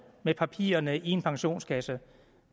med papirerne i en pensionskasse